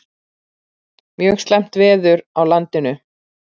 Mjög slæmt veður á landinu